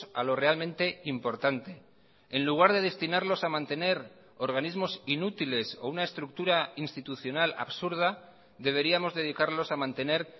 a lo realmente importante en lugar de destinarlos a mantener organismos inútiles o una estructura institucional absurda deberíamos dedicarlos a mantener